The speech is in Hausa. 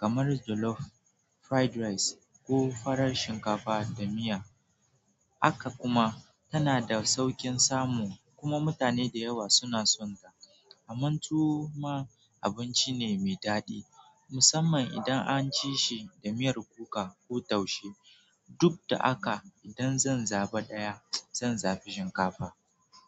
kamar jollof, fried rice ko farar shinkafa da miya. Haka kuma tana da sauƙin samu kuma mutane da yawa suna son ta. Kaman tuwo ma abinci ne mai daɗi musamman idan an ci shi da miyar kuka ko taushe. Duk da haka idan zan zaba ɗaya zan zabi shinkafa.